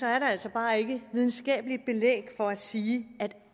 er der altså bare ikke videnskabeligt belæg for at sige at